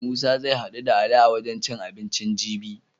Musa zai haɗu da Ali a wajen cin abinci jibi.